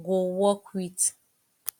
go work with